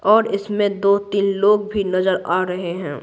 और इसमें दो-तीन लोग भी नजर आ रहे हैं।